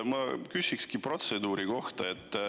Ma küsin protseduuri kohta.